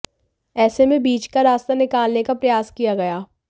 ऐसे में बीच का रास्ता निकालने का प्रयास किया गया